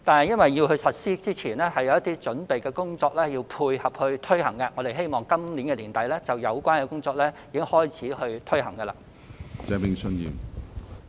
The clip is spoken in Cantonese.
由於實施前需要進行一些準備工作以配合措施的推行，我們因而希望在今年年底開始推行有關工作。